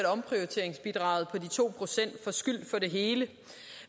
at omprioriteringsbidraget på de to procent får skyld for det hele